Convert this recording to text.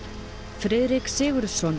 Friðrik Sigurðsson